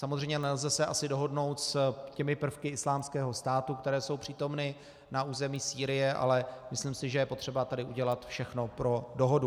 Samozřejmě nelze se asi dohodnout s těmi prvky Islámského státu, které jsou přítomny na území Sýrie, ale myslím si, že je potřeba tady udělat všechno pro dohodu.